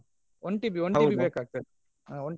One TB One TB ಬೇಕಾಗ್ತದೆ.